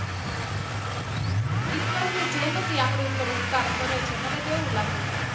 ઈશ્વર ની જેમજ ઈ આપડી ઉપર ઉપકાર કરે છે મને તો એવું લાગે છે.